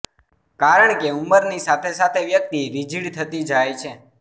કારણ કે ઉંમરની સાથે સાથે વ્યક્તિ રિજીડ થતી જાય છે